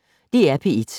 DR P1